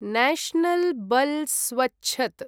national बल् स्वछ्त्